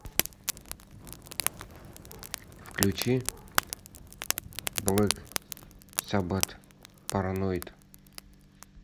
включи блэк саббат параноид